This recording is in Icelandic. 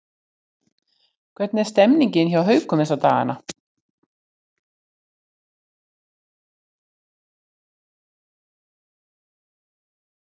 Hvernig er stemmningin hjá Haukum þessa dagana?